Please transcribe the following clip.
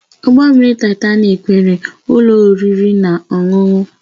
Ụgbọ mmiri Taịtanik nwere ụlọ oriri na ọṅụṅụ